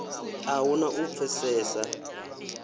a hu na u pfesesa